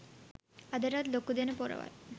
අදටත් ලොකුදෙන පොරවල්